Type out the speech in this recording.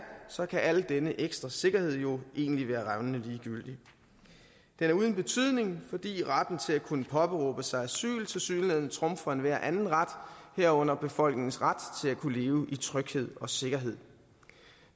så kan al denne ekstra sikkerhed jo egentlig være revnende ligegyldig den er uden betydning fordi retten til at kunne påberåbe sig asyl tilsyneladende trumfer enhver anden ret herunder befolkningens ret til at kunne leve i tryghed og sikkerhed